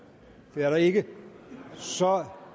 det er der ikke så